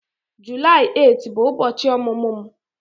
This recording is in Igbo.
8 Julaị bụ ụbọchị ọmụmụ m